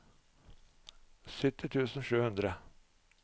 sytti tusen og sju hundre